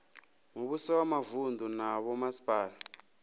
muvhuso wa mavunu na vhomasipala